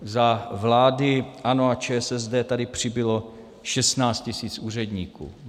Za vlády ANO a ČSSD tady přibylo 16 tisíc úředníků.